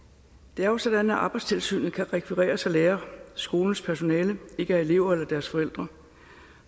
det er jo sådan at arbejdstilsynet kan rekvireres af lærere skolens personale ikke er elever eller deres forældre